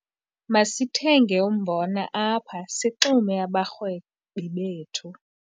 Masithenge umbona apha sixume abarhwebi bethu.